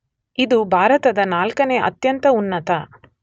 ಇದು ಭಾರತದ ನಾಲ್ಕನೆ ಅತ್ಯಂತ ಉನ್ನತ